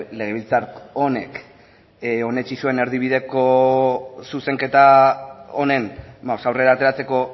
legebiltzar honek onetsi zuen erdibideko zuzenketa honen aurrera ateratzeko